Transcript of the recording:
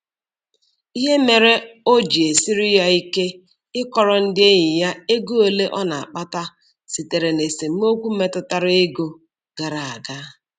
Ihe mere o ji esiri ya ike ịkọrọ ndị enyi ya ego ole ọ na-akpata sitere na esemokwu metụtara ego gara aga.